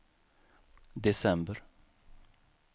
december